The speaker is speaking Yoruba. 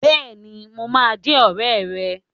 Bẹ́ẹ̀ni, mo máa jẹ́ ọ̀rẹ́ rẹ.